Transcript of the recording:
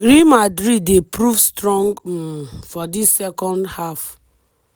real madrid dey prove strong um for dis second half.